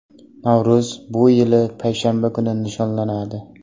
Navro‘z bu yil payshanba kuni nishonlanadi.